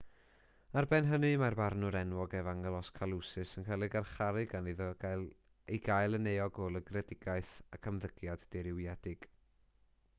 ar ben hynny mae'r barnwr enwog evangelos kalousis yn cael ei garcharu gan iddo ei gael yn euog o lygredigaeth ac ymddygiad dirywiedig